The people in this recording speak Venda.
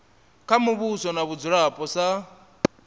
kha muvhuso na vhadzulapo sa